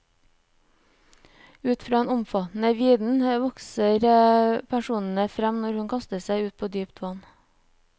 Ut fra en omfattende viden vokser personene frem når hun kaster seg ut på dypt vann.